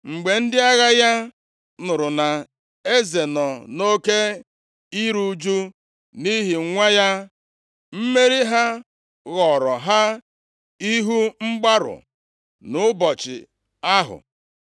Mgbe ndị agha ya nụrụ na eze nọ nʼoke iru ụjụ nʼihi nwa ya, mmeri ha ghọọrọ ha ihu mgbarụ nʼụbọchị ahụ.